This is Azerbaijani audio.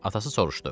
Atası soruşdu: